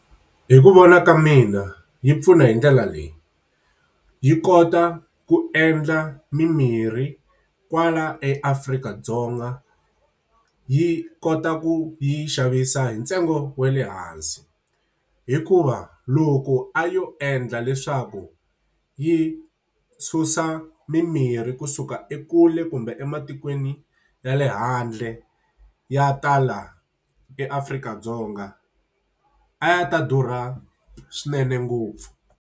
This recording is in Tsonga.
Hi ku vona ka mina yi pfuna hi ndlela leyi, yi kota ku endla mimirhi kwala Afrika-Dzonga, yi kota ku yi yi xavisa hi ntsengo wa le hansi. Hikuva loko a yo endla leswaku yi susa mimirhi kusuka ekule kumbe ematikweni ya le handle, ya ta laha eAfrika-Dzonga a ya ta durha swinene ngopfu.